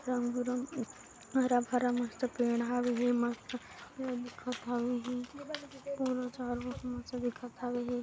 रंग बिरंग हरा भरा मस्त पेड़ हावे हे मस्त दिखत हावे हे पूरा चारगो सब मस्त दिखत आवे हे।